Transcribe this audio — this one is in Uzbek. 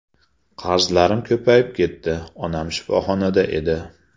Qarzlarim ko‘payib ketdi, onam shifoxonada edi.